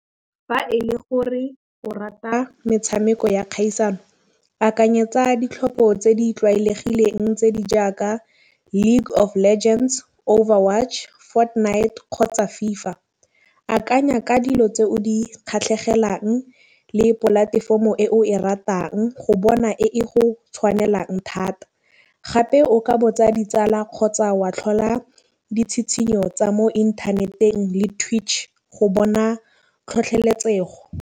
Fa e le gore o rata metšhameko ya kgaisano akanyetsa ditlhopho tse di tlwaelegileng tse di jaaka League of Legends, Over Watch, Fortnite kgotsa FIFA. Akanya ka dilo tse o di kgatlhegelang le polatefomo e o e ratang go bona e go tšhwanelang thata. Gape o ka botsa ditsala kgotsa wa tlhola ditšhitšhinyo tsa mo inthaneteng le twich go bona tlhotlheletsega go.